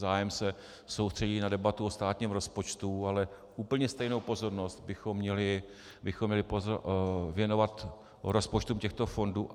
Zájem se soustředí na debatu o státním rozpočtu, ale úplně stejnou pozornost bychom měli věnovat rozpočtům těchto fondů.